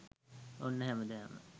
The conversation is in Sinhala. ඔන්න හැමදාම